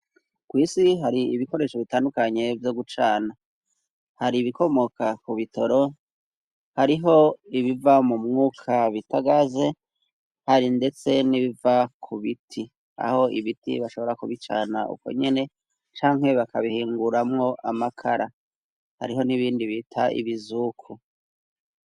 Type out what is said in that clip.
Kw'isi hari ibikoresho bitandukanye byo gucana hari ibikomoka ku bitoro ,hariho ibiva mu mwuka bitagaze, hari ndetse n'ibiva ku biti aho ibiti bashobora kubicana uko nyene cankwe bakabihinguramwo amakara hariho n'ibindi bita ibizuku.